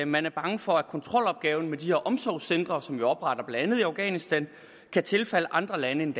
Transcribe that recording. man er bange for at kontrolopgaven med de her omsorgscentre som vi opretter blandt andet i afghanistan kan tilfalde andre lande end